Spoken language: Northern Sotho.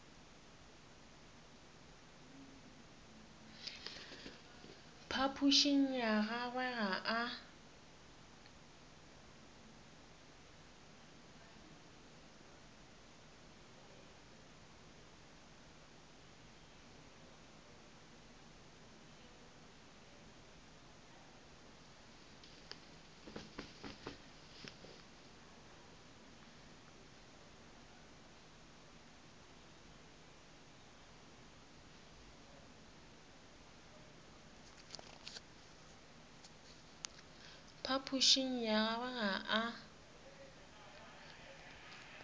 phapošing ya gagwe ga a